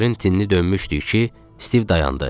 Çəpərin tinni dönmüşdük ki, Stiv dayandı.